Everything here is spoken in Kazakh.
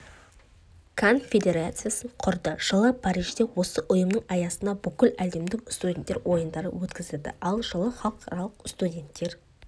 конфедерациясын құрды жылы парижде осы ұйымның аясында бүкіләлемдік студенттер ойындары өткізілді ал жылы халықаралық студенттер